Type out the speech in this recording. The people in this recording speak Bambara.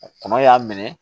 Kɔnɔ y'a minɛ